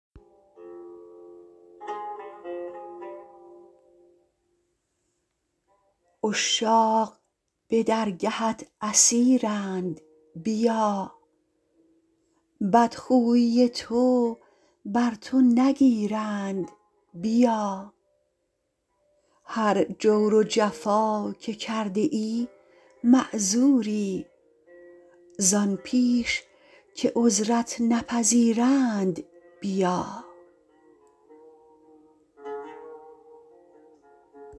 عشاق به درگهت اسیرند بیا بدخویی تو بر تو نگیرند بیا هر جور و جفا که کرده ای معذوری زآن پیش که عذرت نپذیرند بیا